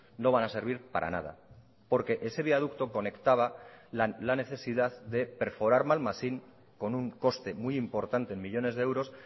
no van a servir para nada porque ese viaducto conectaba la necesidad de perforar malmasín con un coste muy importante en millónes de euros